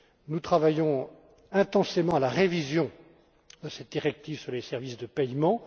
compte. Nous travaillons intensément à la révision de cette directive sur les services de paiement.